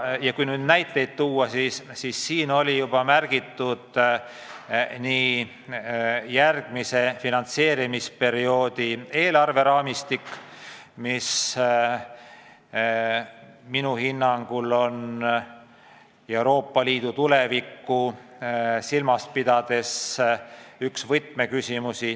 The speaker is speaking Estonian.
Kui näiteid tuua, siis siin juba märgiti järgmise finantseerimisperioodi eelarve raamistikku, mis minu hinnangul on Euroopa Liidu tulevikku silmas pidades üks võtmeküsimusi.